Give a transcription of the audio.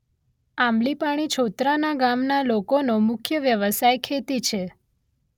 આંબલીપાણી છોતરાના ગામના લોકોનો મુખ્ય વ્યવસાય ખેતી છે.